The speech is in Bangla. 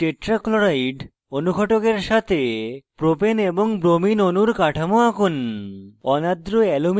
কার্বন টেট্রা ক্লোরাইড ccl4 অনুঘটকের সাথে propene c3h6 এবং ব্রোমিন brbr অণুর কাঠামো আঁকুন